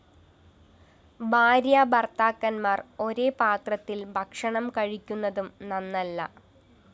ഭാര്യാ ഭര്‍ത്താക്കന്മാര്‍ ഒരേ പാത്രത്തില്‍ ഭക്ഷണം കഴിക്കുന്നതും നന്നല്ല